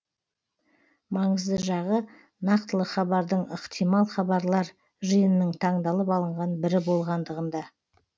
маңызды жағы нақтылы хабардың ықтимал хабарлар жиынының таңдалып алынған бірі болғандығында